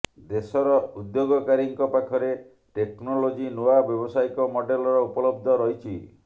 ଦେଶର ଉଦ୍ୟୋଗକାରୀଙ୍କ ପାଖରେ ଟେକ୍ନୋଲୋଜି ନୂଆ ବ୍ୟବସାୟିକ ମଡେଲର ଉପଲବ୍ଧ ରହିଛି